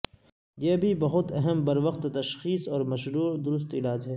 یہ بھی بہت اہم بروقت تشخیص اور مشروع درست علاج ہے